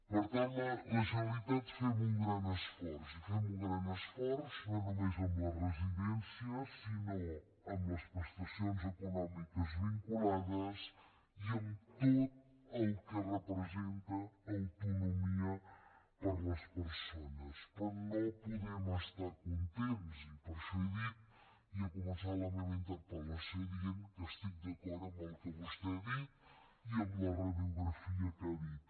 per tant la generalitat fem un gran esforç i fem un gran esforç no només amb les residències sinó amb les prestacions econòmiques vinculades i amb tot el que representa autonomia per a les persones però no podem estar contents i per això he dit i he començat la meva interpel·lació dient ho que estic d’acord amb el que vostè ha dit i amb la radiografia que ha dit